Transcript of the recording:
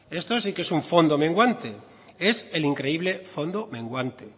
esto sí que es un fondo menguante es el increíble fondo menguante